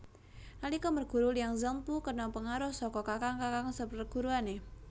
Nalika merguru Liang Zhenpu kena pengaruh saka kakang kakang seperguruane